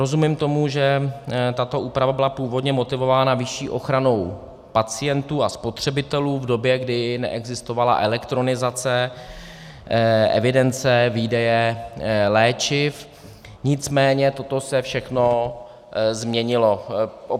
Rozumím tomu, že tato úprava byla původně motivována vyšší ochranou pacientů a spotřebitelů v době, kdy neexistovala elektronizace evidence výdeje léčiv, nicméně toto se všechno změnilo.